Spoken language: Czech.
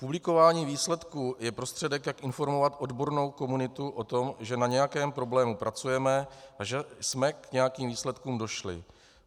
Publikování výsledků je prostředek, jak informovat odbornou komunitu o tom, že na nějakém problému pracujeme a že jsme k nějakým výsledkům došli.